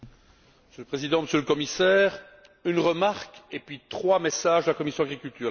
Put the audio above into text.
Monsieur le Président, Monsieur le Commissaire, une remarque et trois messages de la commission de l'agriculture.